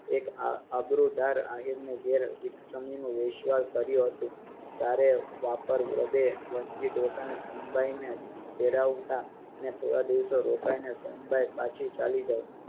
એક આબરૂદાર આહીર ના ઘરે એક સમયનો વૈષયવ કાળિયું હતું સારે નસર કામે ડોસાને સોનબાઈને તેડાવતા અને થોડા દિવસ રોકાઈને સોનબાઈ પાછી ચાલી જાય